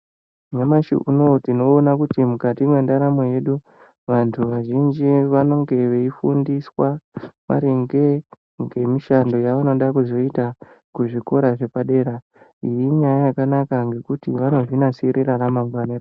Namashi unowu tinoona kuti mukati mwendaramo yedu vantu vazhinji vanenge veifundiswa maringe ngemishando yavanoda kuzoita kuzvikora zvepadera iyi inyaya yakanaka nekuti vanozvinasirira ramangwana ravo .